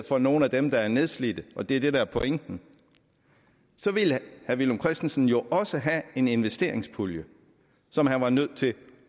for nogle af dem der er nedslidte og det er det der er pointen så ville herre villum christensen jo også have en investeringspulje som han var nødt til